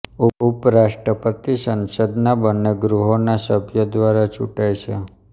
ઉપરાષ્ટ્રપતિ સંસદના બન્ને ગૃહોના સભ્યો દ્વારા ચૂંટાય છે